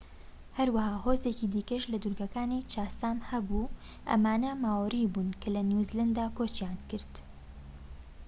هەروەها هۆزێکی دیکەش لە دورگەکانی چاسام هەبوو ئەمانە ماۆری بوون کە لە نیوزلەندا کۆچیان کرد